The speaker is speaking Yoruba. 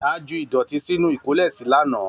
A ju ìdọ̀tí sínú ìkólèsí lánàá.